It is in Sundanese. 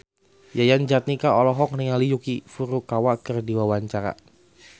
Yayan Jatnika olohok ningali Yuki Furukawa keur diwawancara